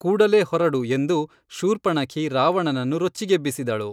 ಕೂಡಲೇ ಹೊರಡು ಎಂದು ಶೂರ್ಪಣಖಿ ರಾವಣನನ್ನು ರೊಚ್ಚಿಗೇಬ್ಬಿಸಿದಳು